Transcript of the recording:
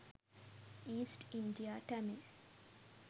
east india tamil